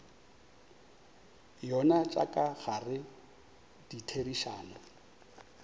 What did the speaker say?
yona tša ka gare ditherišano